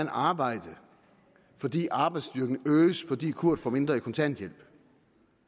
arbejde fordi arbejdsstyrken øges fordi kurt får mindre i kontanthjælp